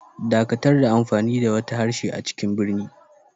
Dakatar da amfani da wata harshe a cikin birni.